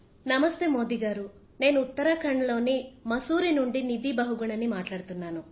నమస్తే మోదీ గారూ నేను ఉత్తరాఖండ్ లోని మసురీ నుండి నిధి బహుగుణ ని మాట్లాడుతున్నాను